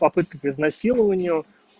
попытка к изнасилованию